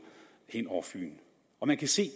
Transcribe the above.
hen over fyn og man kan se at